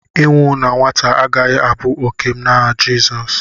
ịnwụ na nwata agaghị abụ òkè m n'aha Jizọs